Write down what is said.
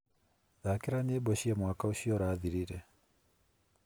Thakira nyĩmbo cia mwaka ũcio ũrathirire.